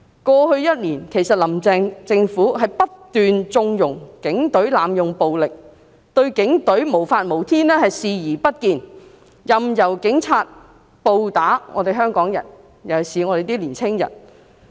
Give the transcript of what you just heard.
過去一年，其實"林鄭"政府不斷縱容警隊濫用暴力，她對警隊無法無天的情況視而不見，任由警察暴打香港人，尤其是年輕人。